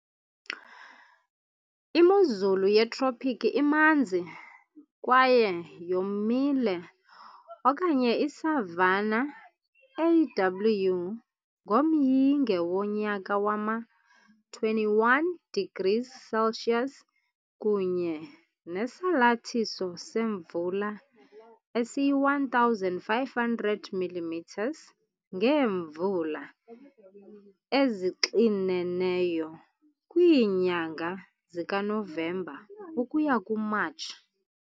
Imozulu yeTropiki imanzi kwaye yomile okanye i-savanna, AW, ngomyinge wonyaka wama-21degrees Celsius kunye nesalathiso semvula esiyi-1,500 mm. ngeemvula ezixineneyo kwiinyanga zikaNovemba ukuya kuMatshi.